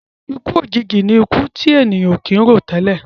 Ikú òjijì ní ikú ti èèyàn ò kì ń rò tẹ́lẹ̀.